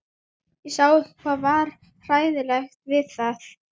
Ég sá ekki hvað var hlægilegt við það.